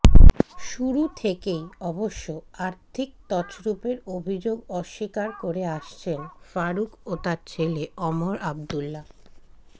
শুরু থেকেই অবশ্য আর্থিক তছরুপের অভিযোগ অস্বীকার করে আসছেন ফারুক ও তাঁর ছেলে ওমর আবদুল্লা